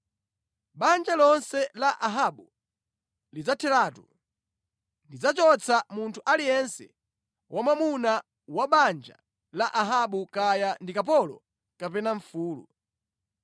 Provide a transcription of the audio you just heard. Banja lonse la Ahabu lidzatheratu. Ndidzachotsa munthu aliyense wamwamuna wa banja la Ahabu kaya ndi kapolo kapena mfulu.